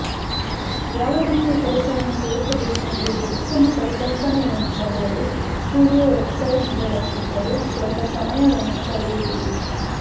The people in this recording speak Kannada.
ಯಾವ ರೀತಿಯ ಕೆಲಸವನ್ನು ಸೇರಿಸಬೇಕೆಂಬುದು ಉತ್ತಮ ಪರಿಕಲ್ಪನೆಯನ್ನು ಪಡೆಯಲು ಸ್ಟುಡಿಯೋ ವೆಬ್ಸೈಟ್ಗಳ ಸುತ್ತಲೂ ಸ್ವಲ್ಪ ಸಮಯವನ್ನು ಕಳೆಯುವುದು